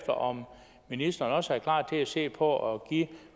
om ministeren også er klar til at se på at give